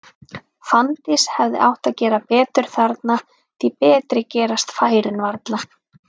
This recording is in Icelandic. Fanndís hefði átt að gera betur þarna, því betri gerast færin varla.